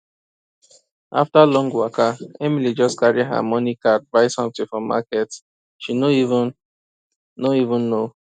after long waka emily just carry her money card buy something for market she no even no even know